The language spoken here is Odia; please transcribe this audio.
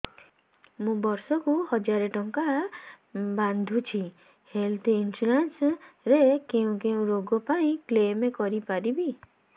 ମୁଁ ବର୍ଷ କୁ ହଜାର ଟଙ୍କା ବାନ୍ଧୁଛି ହେଲ୍ଥ ଇନ୍ସୁରାନ୍ସ ରେ କୋଉ କୋଉ ରୋଗ ପାଇଁ କ୍ଳେମ କରିପାରିବି